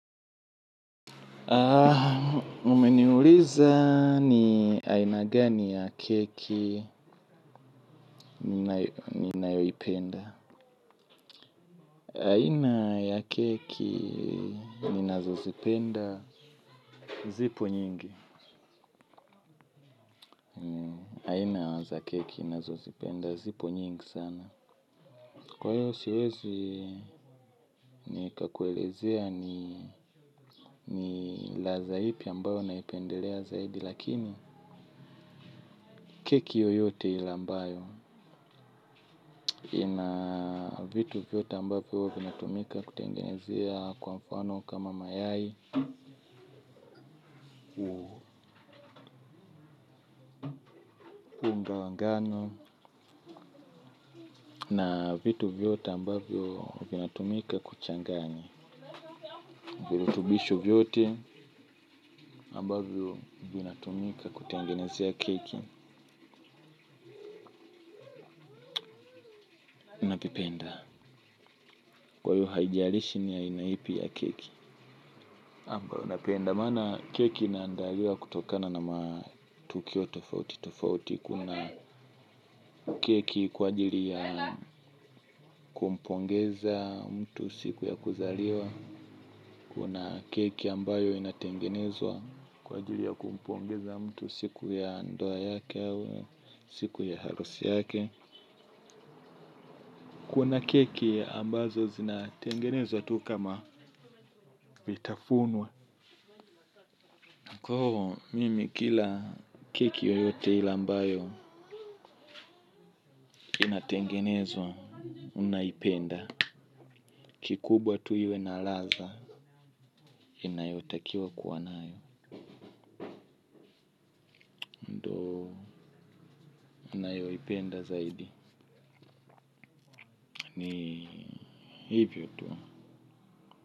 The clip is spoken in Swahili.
Ah, mumeniuliza ni aina gani ya keki ni nayoipenda. Aina ya keki ninazozipenda zipo nyingi. Naza keki ninazozipenda zipo nyingi sana. Kwa hiyo siwezi ni kakuelezea ni ladha ipi ambayo naipendelea zaidi. Lakini keki yoyote ile ambayo ina vitu vyote ambavyo huwa vinatumika kutengenezea kwa mfano kama mayai unga wa ngano. Na vitu vyote ambavyo vinatumika kuchanganya virutubisho vyote ambavyo vinatumika kutengenezea keki vipenda kwa hio haijarishi ni aina ipi ya keki ambayo napenda. Maana keki inaandaliwa kutokana na matukio tofauti. Tofauti kuna keki kwa ajiri ya kumpongeza mtu siku ya kuzaliwa. Kuna keki ambayo inatengenezwa kwa ajiri ya kumpongeza mtu siku ya ndoa yake au siku ya halusi yake. Kuna keki ambazo zinatengenezwa tu kama vitafunwa. Kwa hivyo mimi kila keki yoyote ile ambayo inatengenezwa naipenda. Kikubwa tu iwe na ladha inayotakiwa kuwanayo. Ipenda zaidi. Ni hivyo tu.